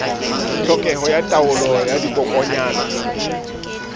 tlhokeho ya taolo ya dikokwanyana